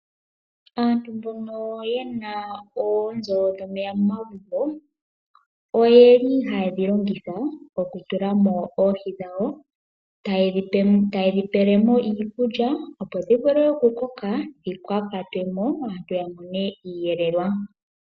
Aantu mbono ye na oonzo dhomeya momagumbo, oyeli haye dhi longitha okutula mo oohi dhawo. Taye dhi pele mo iikulya, opo dhi vule okukoka dhika kwatwe mo aantu ya mone iiyelelwa.